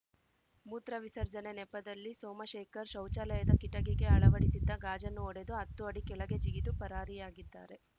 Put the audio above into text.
ಮೂತ್ರ ವಿಸರ್ಜನೆ ನೆಪದಲ್ಲಿ ಸೋಮಶೇಖರ್‌ ಶೌಚಾಲಯದ ಕಿಟಕಿಗೆ ಅಳವಡಿಸಿದ್ದ ಗಾಜನ್ನು ಒಡೆದು ಹತ್ತು ಅಡಿ ಕೆಳಗೆ ಜಿಗಿದು ಪರಾರಿಯಾಗಿದ್ದಾರೆ